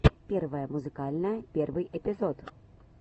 первое музыкальное первый эпизод